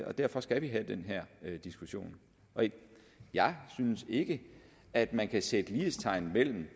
og derfor skal vi have den her diskussion jeg synes ikke at man kan sætte lighedstegn mellem